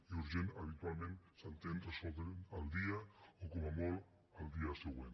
i urgent habitualment s’entén resoldre la al dia o com a molt el dia següent